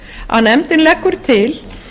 að nefndin leggur til